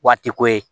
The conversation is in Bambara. Waati ko ye